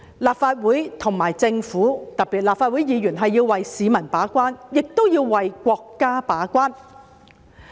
立法會和政府，特別是立法會議員，要為市民把關，亦要為國家把關。